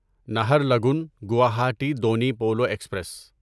Naharlagun Guwahati Donyi Polo express